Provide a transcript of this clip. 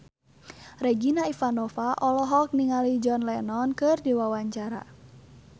Regina Ivanova olohok ningali John Lennon keur diwawancara